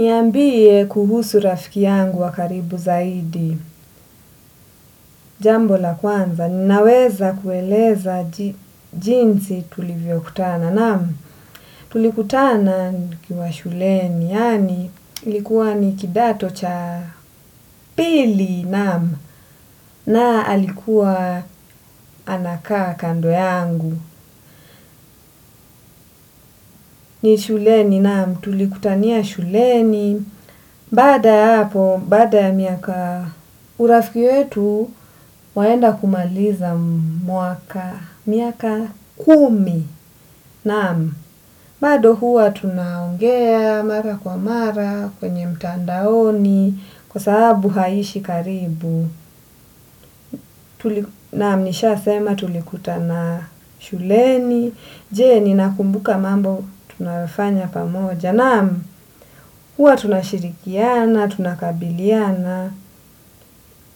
Niambie kuhusu rafiki yangu wakaribu zaidi, jambo la kwanza, ninaweza kueleza jinsi tulivyo kutana, namu, tulikutana nikiwa shuleni, yani likuwa nikidato cha pili, namu, nae alikuwa anaka kando yangu, ni shuleni, namu, tulikutania shuleni, baada ya hapo, bada ya miaka urafiki yetu, waenda kumaliza muaka miaka kumi. Naam, bado huwa tunaongea mara kwa mara kwenye mtandaoni kwa sababu haishi karibu. Naam, nisha sema tulikuta na shuleni. Je, ni nakumbuka mambo tunayofanya pamoja. Namu, hua tunashirikiana, tunakabiliana,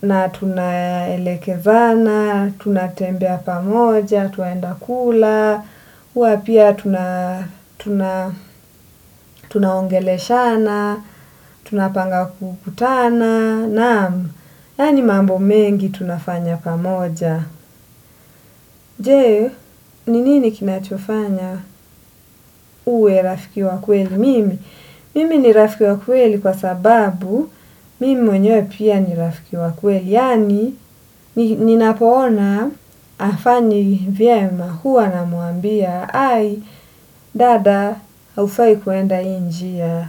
na tunaelekezana, tunatembea pamoja, twaenda kula, hua pia tuna ongeleshana, tunapanga kukutana, namu, yani mambo mengi tunafanya pamoja. Je, ni nini kinachofanya uwe rafiki wakweli mimi? Mimi ni rafiki wakweli kwa sababu mimi mwenyewe pia nirafiki wakweli. Yani, ninapoona afani vyema. Huwa namwambia, ai, dada, haufai kuenda hii njia.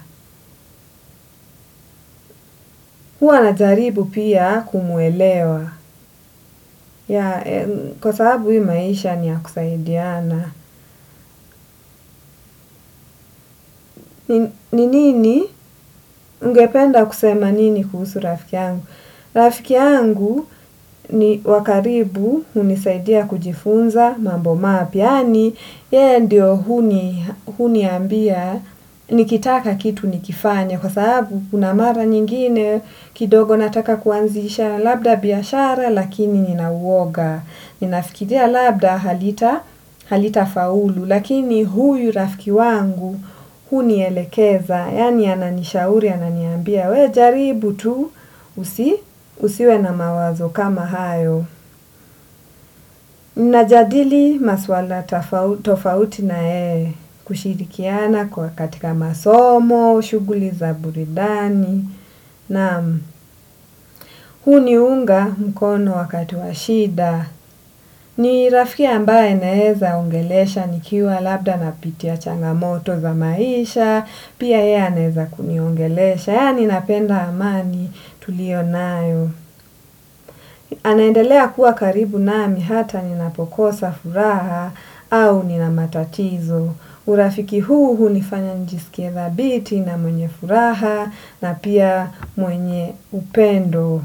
Huwa najaribu pia kumwelewa. Ya, kwa sababu hii maisha ni ya kusaidiana. Ni nini, ungependa kusema nini kuhusu rafiki yangu. Rafiki yangu, ni wakaribu, unisaidia kujifunza, mambo mapya yani, yeye ndio huniambia, nikitaka kitu nikifanya kwa sababu, unamara nyingine, kidogo nataka kuanzisha labda biyashara, lakini ninauwoga. Ninafikiria labda halita faulu lakini huyu rafiki yangu hunielekeza yani ananishauri ananiambia we jaribu tu usiwe na mawazo kama hayo. Najadili maswala tofauti na yeye. Kushirikiana kwa katika masomo, shuguli za buridani. Naam, huniunga mkono wakati wa shida. Ni rafiki ambaye naeza ongelesha nikiwa labda na pitia changamoto za maisha. Pia yeye aneza kuniongelesha, yani napenda amani tulio nayo. Anaendelea kuwa karibu nami hata ninapokosa furaha au nina matatizo. Urafiki huu hunifanya njisikie thabiti na mwenye furaha na pia mwenye upendo.